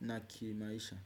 na ki maisha.